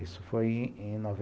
Isso foi em noven